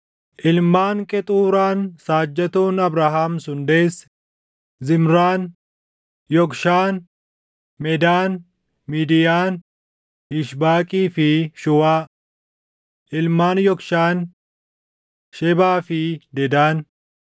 Ilmaan Qexuuraan saajjatoon Abrahaam sun deesse: Zimraan, Yoqshaan, Medaan, Midiyaan, Yishbaaqii fi Shuwaa. Ilmaan Yokshaan: Shebaa fi Dedaan.